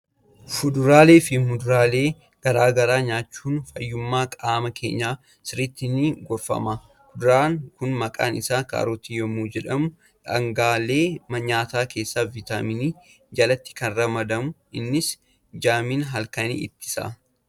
Fuduraalee fi muduraalee garaa garaa nyaachuun fayyummaa qaama keenyaaf sirriitti ni gorfama! Kuduraan kun maqaan isaa kaarotii yommuu jedhamu, dhaangaalee nyaataa keessaa Vitaaminii jalatti kan ramadamudha. Innis jaamina halkanii ittisa.